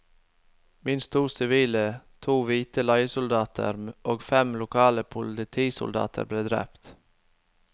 Minst to sivile, to hvite leiesoldater og fem lokale politisoldater ble drept.